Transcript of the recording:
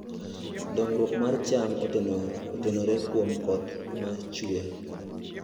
Dongruok mar cham otenore kuom koth ma chue.